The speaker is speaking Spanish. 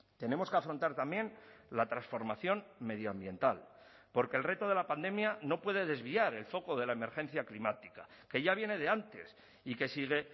tenemos que afrontar también la transformación medioambiental porque el reto de la pandemia no puede desviar el foco de la emergencia climática que ya viene de antes y que sigue